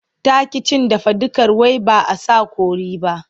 Ta ƙi cin dafadukar wai ba a sa kori ba.